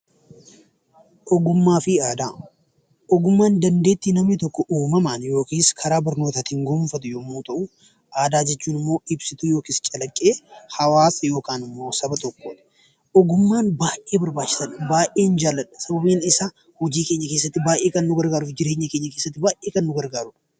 Ogummaa fi aadaa Ogummaa jechuun dandeettii namni tokko uumamaan yookiin karaa barnootaatiin gonfatu yemmuu ta'u, aadaa jechuun immoo ibsituu yookaan immoo calaqqee hawaasa yookaan saba tokkoodha. Ogummaan baayyee barbaachisa, baayyeen jaaladha sababbiin isaa hojii keenya keessatti, jireenya keenya keessatti baayyee kan nu gargaarudha.